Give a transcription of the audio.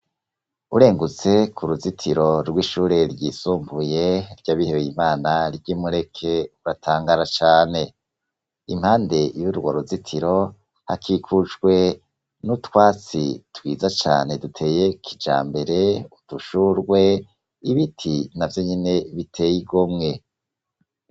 Urengutse ku ruzitiro rw'ishure ry'isumbuye ryabihebey'Imana ry'imureke uratangara cane, impande y'urwo ruzitiro hakikujwe n'utwatsi twiza cane duteye kijambere, udushurwe ibiti na vyo nyene bitey' igomwe.